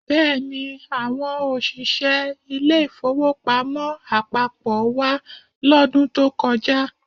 Bẹ́ẹ̀ni, àwọn òṣìṣẹ́ ilé-ìfowópamọ́ àpapọ̀ wá lọ́dún tó kọjá